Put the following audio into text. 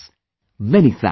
Many good wishes